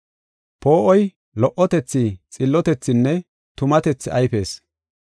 Poo7oy lo77otethi, xillotethinne tumatethi ayfees.